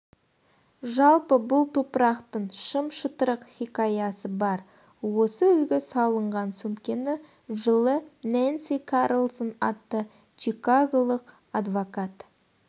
жалпы бұл топырақтың шым-шытырық хикаясы бар осы үлгі салынған сөмкені жылы нэнси карлсон атты чикаголық адвокат